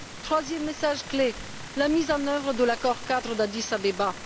Troisième message clé la mise en œuvre de l'accord cadre d'Addis Abeba.